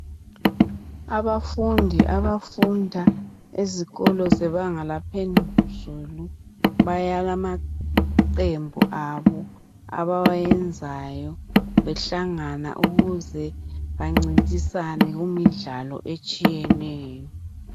Abafundi abafunda ezikolo zebanga laphezulu balamaqembu abo abawabayenzayo behlangana ukuze bancintisane kumidlalo etshiyeneyo.